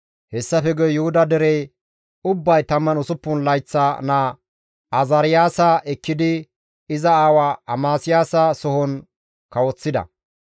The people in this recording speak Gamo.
Hessafe guye Yuhuda dere ubbay 16 layththa naa Azaariyaasa ekkidi iza aawa Amasiyaasa sohon kawoththida.